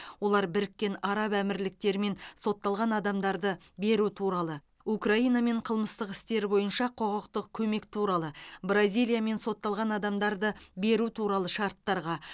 олар біріккен араб әмірліктерімен сотталған адамдарды беру туралы украинамен қылмыстық істер бойынша құқықтық көмек туралы бразилиямен сотталған адамдарды беру туралы шарттарға